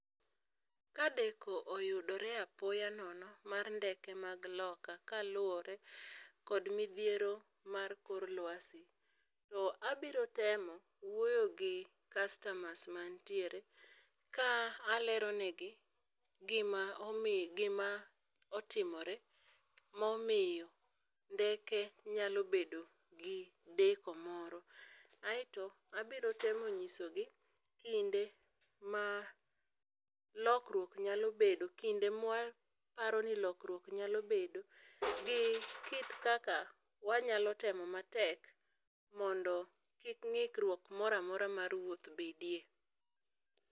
Ka deko oyudore apoya nono mar ndeke mag loka, kaluore kod midhiero mar kor luasi to abiro temo wuoyo gi kastamas ma nitiere ka alero ne gi gi ma omiyo gi ma otimore ma omiyo ndeke nyalo bedo gi deko moro. Aito abiro temo nyiso gi kinde ma lokruok nyalo bedo kinde ma waparo ni lokruok nyalo bedo gi kit kaka wanyalo temo matek mondo kik ng'ikruok moro amora mar wuoth bedie.